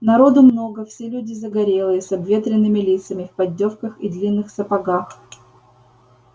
народу много все люди загорелые с обветренными лицами в поддёвках и длинных сапогах